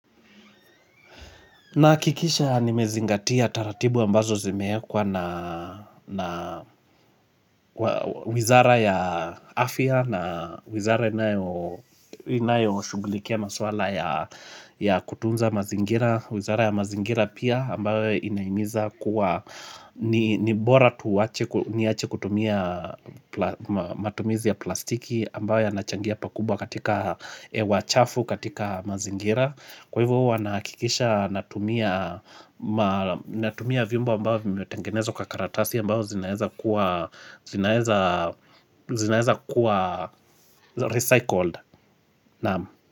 Nahikikisha nimezingatia taratibu ambazo zimeekwa na wizara ya afya na wizara inayo shugulikia maswala ya kutunza mazingira. Wizara ya mazingira pia ambayo inaimiza kuwa ni bora niache kutumia matumizi ya plastiki ambayo yanachangia pakubwa katika wachafu katika mazingira. Kwa hivyo wanahakikisha natumia vimbo ambao vimetengenezwa karatasi ambao zinaeza kuwa recycled.